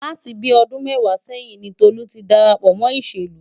Láti bíi ọdún mẹ́wàá sẹ́yìn ni Tolú ti darapọ̀ mọ́ ìṣèlú.